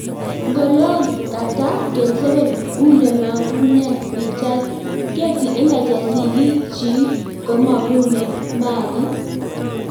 N'golo Kant�, 27 ulemagune pichait, Getty Images Sigik chik komagune Mali.